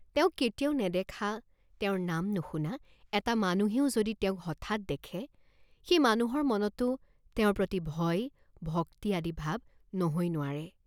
তেওঁক কেতিয়াও নেদেখা, তেওঁৰ নাম নুশুনা এটা মানুহেও যদি তেওঁক হঠাৎ দেখে, সেই মানুহৰ মনতো তেওঁৰ প্ৰতি ভয়, ভক্তি আদি ভাৱ নহৈ নোৱাৰে।